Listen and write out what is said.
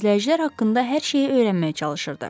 Təmizləyicilər haqqında hər şeyi öyrənməyə çalışırdı.